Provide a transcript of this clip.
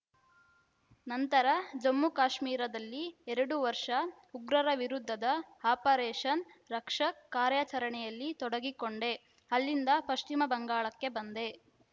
ನಂತರ ಜಮ್ಮು ಕಾಶ್ಮೀರದಲ್ಲಿ ಎರಡು ವರ್ಷ ಉಗ್ರರ ವಿರುದ್ಧದ ಆಪರೇಷನ್‌ ರಕ್ಷಕ್‌ ಕಾರ್ಯಾಚರಣೆಯಲ್ಲಿ ತೊಡಗಿಕೊಂಡೆ ಅಲ್ಲಿಂದ ಪಶ್ಚಿಮ ಬಂಗಾಳಕ್ಕೆ ಬಂದೆ